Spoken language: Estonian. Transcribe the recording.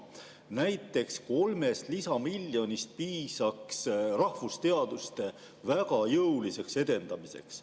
Näiteks 3 lisamiljonist piisaks rahvusteaduste väga jõuliseks edendamiseks.